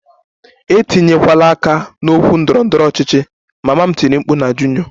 Etinyekwala aka n'okwu ndọrọ ndọrọ ọchịchị! Mama m tiri mkpu na Junior